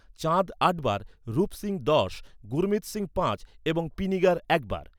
চাঁদ আট বার, রূপ সিং দশ, গুরমিত সিং পাঁচ, এবং পিনিগার একবার।